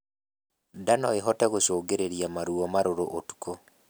Ndaa noĩhote gũcũngĩrĩrĩa maruo marũrũ utuku